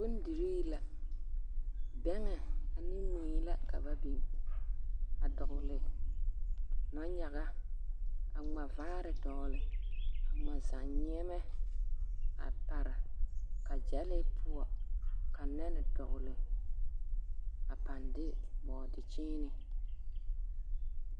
Bondirii la, bɛŋɛ ane mui la ka ba biŋ a dɔgele nɔnyaga, a ŋma vaare dɔgele, a ŋma zannyeɛmɛ a pare, ka gyɛlee poɔ, ka nɛne dɔgele, a pãã de bɔɔde kyēēne.